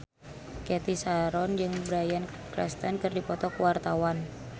Cathy Sharon jeung Bryan Cranston keur dipoto ku wartawan